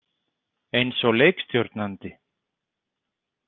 Eins og leikstjórnandi.